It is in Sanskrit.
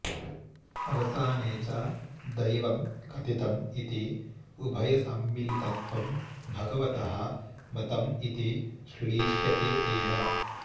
अवसाने च दैवं कथितं इति उभयसम्मिलितत्वं भगवतः मतं इति श्लिष्यते एव